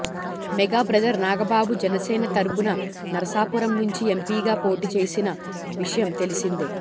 mega brother Nagababu Janasena తరుపున నరసాపురం నుంచి ఎంపీగా పోటీ చేసిన విషయం తెలిసిందే